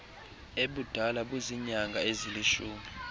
ebudala buziinyanga ezilishumi